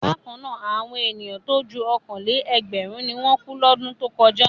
Bákan náà, àwọn ènìyàn tó ju ọ̀kan-lé-ẹgbẹ̀rún ni wọ́n kú lọ́dún tó kọ̀já.